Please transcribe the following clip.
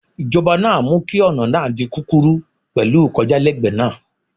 Ìjọba náà mú kí ọ̀nà náà di kúkúrú pẹ̀lú ìkọjálẹ́gbẹ̀ẹ́ náà.